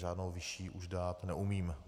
Žádnou vyšší už dát neumím.